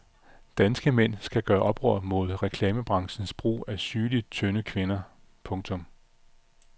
Danske mænd skal gøre oprør mod reklamebranchens brug af sygeligt tynde kvinder. punktum